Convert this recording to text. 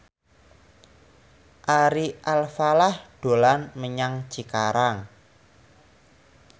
Ari Alfalah dolan menyang Cikarang